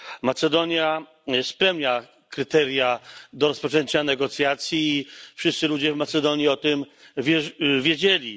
Macedonia spełnia kryteria rozpoczęcia negocjacji i wszyscy ludzie w Macedonii o tym wiedzieli.